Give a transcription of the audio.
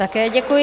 Také děkuji.